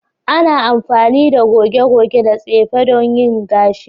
Ana amfani da goge-goge da tsefe don yin gashi.